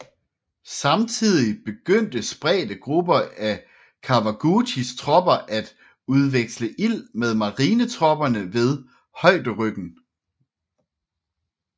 Samtidig begyndte spredte grupper af Kawaguchis tropper at udveksle ild med marinetropperne ved højderyggen